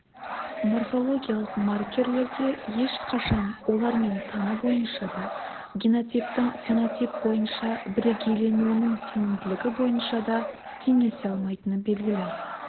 морфологиялық маркерлерге ешқашан олармен саны бойынша да генотиптің фенотип бойынша бірегейленуінің сенімділігі бойынша да теңесе алмайтыны белгілі